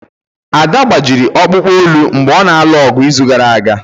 Ada gbajiri ọkpụkpụ olu mgbe ọ na-alụ ọgụ n'izu gara aga.